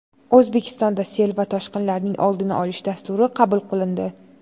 O‘zbekistonda sel va toshqinlarning oldini olish dasturi qabul qilindi.